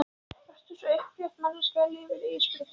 Vertu svo upprétt manneskja í lífinu Ísbjörg mín.